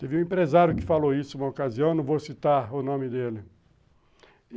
Teve um empresário que falou isso uma ocasião, não vou citar o nome dele.